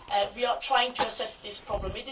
We are trying to assess this problem.